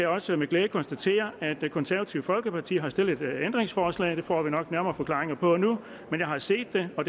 også med glæde konstatere at det konservative folkeparti har stillet et ændringsforslag at det får vi nok nærmere forklaringer på nu men jeg har set det og